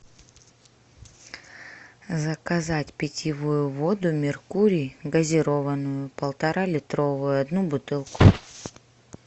заказать питьевую воду меркурий газированную полторалитровую одну бутылку